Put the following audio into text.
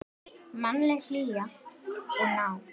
Mannleg hlýja og nánd.